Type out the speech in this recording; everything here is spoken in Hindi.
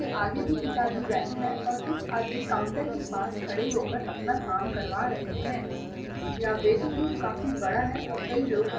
आगे भी एक आदमी बैठा है। और कुछ आदमी काउंटर के पास खड़े होकर अपना काम करवा रहे है। वेटिंग रूम काफ़ी बड़ा है और कई लोग बै --